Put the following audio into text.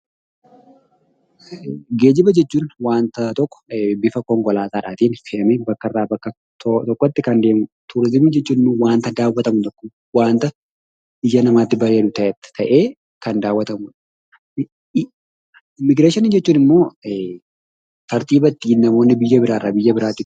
Geejjiba jechuun waanta tokko bifa konkolaataatiin fe'anii bakkarraa bakkatti toora tokkotti kan deemudha. Turizimiin jechuun immoo waanta daawwatamu tokko, waanta ija namaatti bareedu ta'ee Kan daawwatamudha. Immigireeshinii jechuun immoo tartiiba ittiin namoonni biyya biraa biyya biraatti